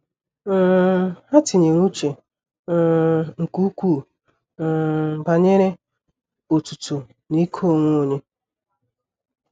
um Ha tinyere uche um nke ukwuu um banyere otuto na ike onwe onye.